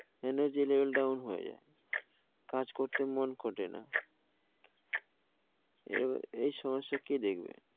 Energy level down হয়ে যাই. কাজ করতে মন করে না, এই সমস্যা ক দেখবে?